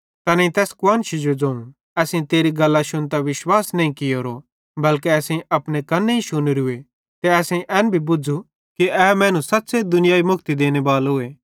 तैनेईं तैस कुआन्शी जो ज़ोवं असेईं तेरी गल्लां शुन्तां विश्वास नईं कियोरो बल्के असेईं अपने कन्नेईं शुनेरूए ते असेईं एन हुनी बुझ़ू कि ए मैनू सच़्च़े दुनियाई मुक्ति देनेबालोए